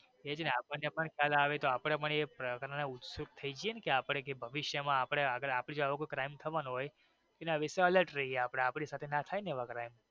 એ જ ને અપડાને પણ ખ્યાલ આવે ને તો અપડે પણ ઉત્સુક થઈ જઈ ને અપડે ભવિષ્ય માં આપડે આપણી સાથે એવો કઈ crime થવાનો હોઈ તો અપડે એના વિશે alret રહીએ આપડે આપણી સાથે નો થાય ને એવો crime.